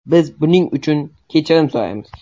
Biz buning uchun kechirim so‘raymiz.